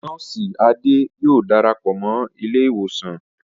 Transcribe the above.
Nọ́ọ̀sì Ade yóò darapọ̀ mọ́ ilé ìwòsàn